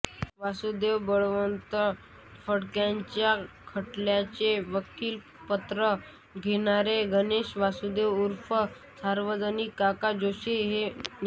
वासुदेव बळवंत फडक्यांच्या खटल्यांचे वकीलपत्र घेणारे गणेश वासुदेव उर्फ सार्वजनिक काका जोशी हे न्या